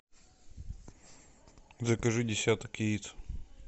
закажи десяток яиц